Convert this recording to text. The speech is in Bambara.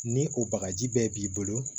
Ni o bagaji bɛɛ b'i bolo